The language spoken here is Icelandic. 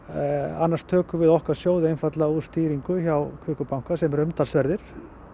annars tökum við okkar sjóði úr stýringu hjá Kviku banka sem eru umtalsverðir